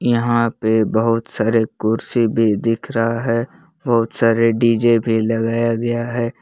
यहां पे बहुत सारे कुर्सी भी दिख रहा है बहुत सारे डी_जे भी लगाया गया है।